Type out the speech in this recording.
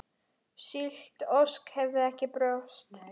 Slík ósk hefði ekki borist.